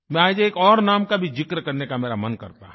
मैं आज एक और नाम का भी जिक्र करने का मेरा मन करता है